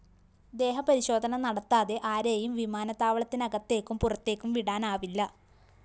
ദേഹപരിശോധന നടത്താതെ ആരെയും വിമാനത്താവളത്തിനകത്തേക്കും പുറത്തേക്കും വിടാനാവില്ല